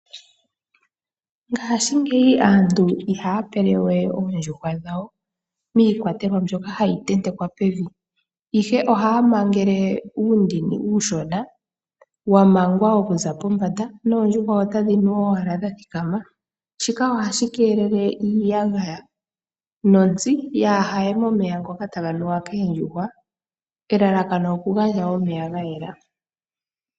Ngaashingeyi aantu ihaya pele we oondjuhwa dhawo miikwatelwa mbyoka hayi tentekwa pevi ihe ohaya mangele uundini uushona wa mangwa okuza pombanda noondjuhwa otadhi nu owala dha thikama. Shika ohashi keelele iiyagaya nontsi kayiye momeya ngoka taga nuwa koondjuhwa elalakano okugandja omeya ga yela.